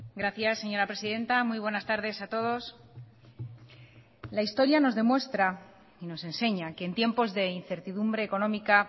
gracias señora presidenta muy buenas tardes a todos la historia nos demuestra y nos enseña que en tiempos de incertidumbre económica